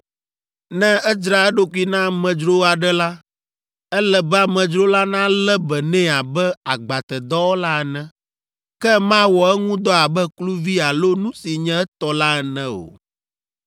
Ne edzra eɖokui na amedzro aɖe la, ele be amedzro la nalé be nɛ abe agbatedɔwɔla ene, ke mawɔ eŋu dɔ abe kluvi alo nu si nye etɔ la ene o.